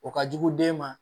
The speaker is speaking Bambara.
O ka jugu den ma